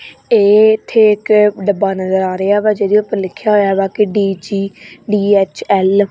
ਇੱਥੇ ਇੱਕ ਡੱਬਾ ਨਜ਼ਰ ਆ ਰਿਹਾ ਵਾ ਜਿਹਦੇ ਉੱਪਰ ਲਿੱਖਿਆ ਹੋਇਆ ਵਾ ਕੇ ਡੀ_ਜੀ_ਡੀ_ਐੱਚ_ਏਲ ।